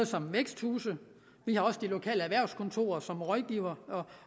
som væksthuse vi har også de lokale erhvervskontorer som rådgiver